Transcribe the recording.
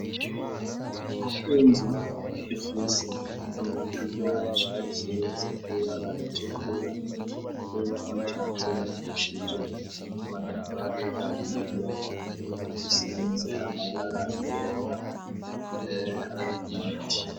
Inzu ifise amadirisha ya ca ss ibara icyo kwira irhontatubakishije matavari a ida zisibitse amagara ibera mbere hari ibiti